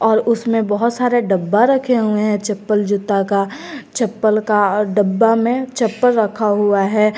और उसमें बहुत सारे डब्बा रखे हुए हैं चप्पल जूता का चप्पल का और डब्बा में चप्पल रखा हुआ है।